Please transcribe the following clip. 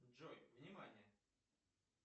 джой внимание